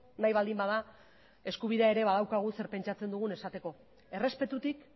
nahi baldin bada eskubidea ere badaukagu zer pentsatzen dugun esateko errespetutik